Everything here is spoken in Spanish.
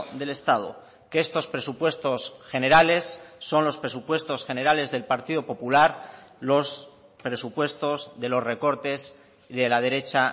del estado que estos presupuestos generales son los presupuestos generales del partido popular los presupuestos de los recortes de la derecha